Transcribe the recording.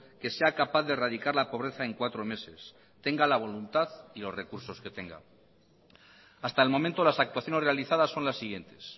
que sea capaz de erradicar la pobreza en cuatro meses tenga la voluntad y los recursos que tenga hasta el momento las actuaciones realizadas son las siguientes